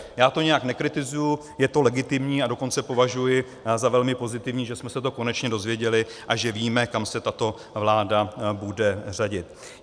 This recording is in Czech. Já to nijak nekritizuji, je to legitimní a dokonce považuji za velmi pozitivní, že jsme se to konečně dozvěděli a že víme, kam se tato vláda bude řadit.